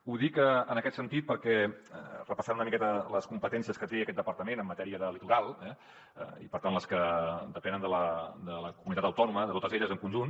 ho dic en aquest sentit perquè repassant una miqueta les competències que té aquest departament en matèria de litoral eh i per tant les que depenen de la comunitat autònoma de totes elles en conjunt